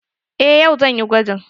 Eh yau zan yi gwajin.